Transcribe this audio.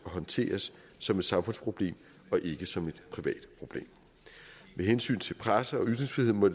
håndteres som et samfundsproblem og ikke som et privat problem med hensyn til presse og ytringsfrihed må